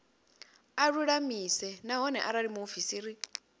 a lulamise nahone arali muofisiri